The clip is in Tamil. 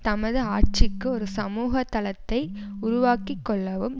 தமது ஆட்சிக்கு ஒரு சமூக தளத்தை உருவாக்கி கொள்ளவும்